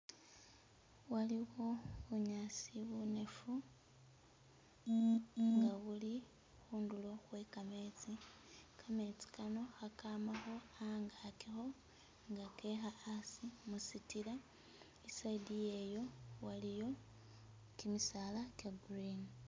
Waliwo bunyaasi bunefu nga buli hundulo hwe kametsi, kametsi kano hakamaho angakiho nga keha asi musitila eside iyeyo waliyo kimisaala kye green.